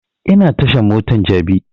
Ina tashan motan jabi